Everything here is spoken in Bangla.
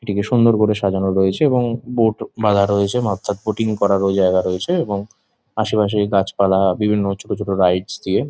এটিকে সুন্দর করে সাজানো রয়েছে এবং বোট বাধা রয়েছে বোটিং করার ও জায়গা রয়েছে এবং আশেপাশে গাছপালা বিভিন্ন ছোট ছোট রাইডস দিয়ে।